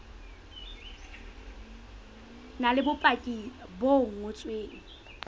na le bopaki bo ngotsweng